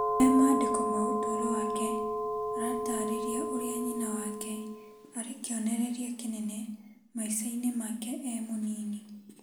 He mandĩko ma ũtũro wake, aratarĩria ũrĩa nyina wake arĩ kĩonereria kĩnene maica-inĩ make e mũnini.